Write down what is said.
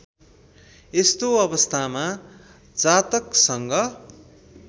यस्तो अवस्थामा जातकसँग